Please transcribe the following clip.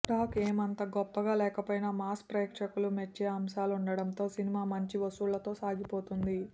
talk ఏమంత గొప్పగా లేకపోయినా మాస్ ప్రేక్షకులు మెచ్చే అంశాలుండటంతో సినిమా మంచి వసూళ్లతో సాగిపోతోంది